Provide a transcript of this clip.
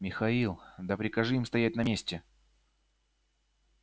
михаил да прикажи им стоять на месте